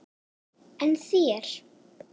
En þér?